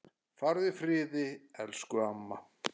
Farðu í friði, elsku amma.